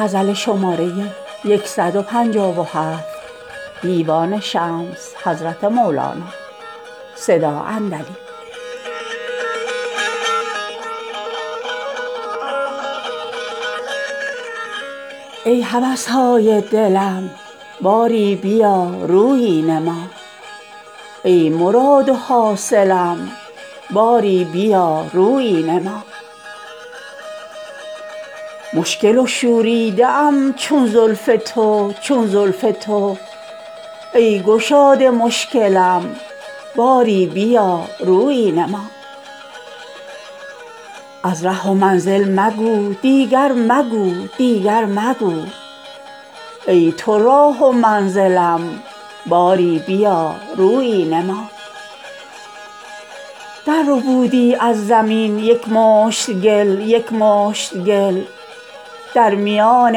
ای هوس های دلم باری بیا رویی نما ای مراد و حاصلم باری بیا رویی نما مشکل و شوریده ام چون زلف تو چون زلف تو ای گشاد مشکلم باری بیا رویی نما از ره و منزل مگو دیگر مگو دیگر مگو ای تو راه و منزلم باری بیا رویی نما درربودی از زمین یک مشت گل یک مشت گل در میان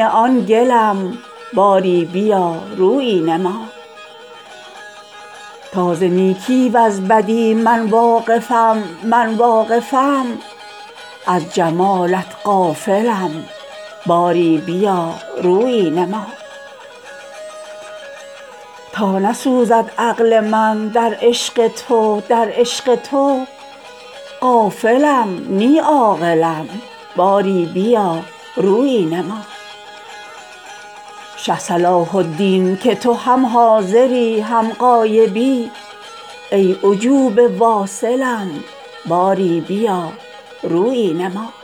آن گلم باری بیا رویی نما تا ز نیکی وز بدی من واقفم من واقفم از جمالت غافلم باری بیا رویی نما تا نسوزد عقل من در عشق تو در عشق تو غافلم نی عاقلم باری بیا رویی نما شه صلاح الدین که تو هم حاضری هم غایبی ای عجوبه واصلم باری بیا رویی نما